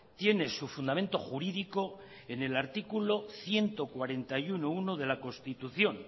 tiene su fundamento jurídico en el artículo ciento cuarenta y uno punto uno de la constitución